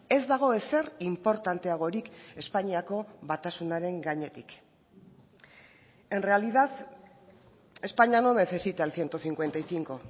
ez dago ezer inportanteagorik espainiako batasunaren gainetik en realidad españa no necesita el ciento cincuenta y cinco